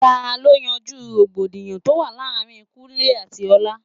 Ta ló yanjú rògbòdìyàn tó wà láàárín Kúnlẹ́ àti Ọlá?